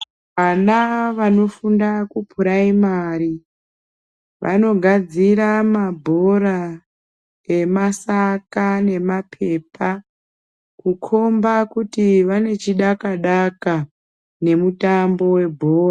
Vana vanofunda kupuraimari vanogadzira mabhora emasaka nemaphepa kukhomba kuti vanechidaka-daka nemutambo webhora.